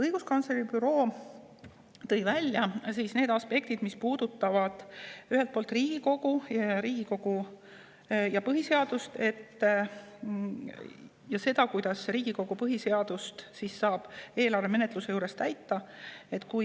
Õiguskantsleri büroo tõi välja need aspektid, mis puudutavad Riigikogu, ja selle, kuidas saab Riigikogu eelarve menetluse juures põhiseadust täita.